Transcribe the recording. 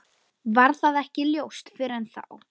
Varð það ekki ljóst fyrr en þá.